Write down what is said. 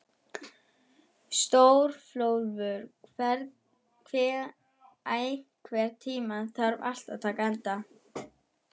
Stórólfur, einhvern tímann þarf allt að taka enda.